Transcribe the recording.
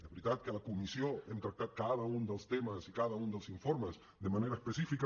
és veritat que a la comissió hem tractat cada un dels temes i cada un dels informes de manera específica